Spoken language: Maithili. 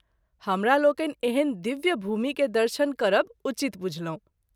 हमरलोकनि एहन दिव्य भूमि के दर्शन करब उचित बूझलहुँ।